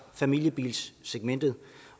familiebilssegmentet